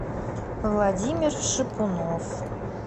владимир шипунов